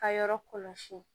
Ka yɔrɔ kɔlɔsi